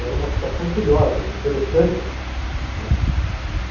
Era uma situação curiosa, interessante essa, não é.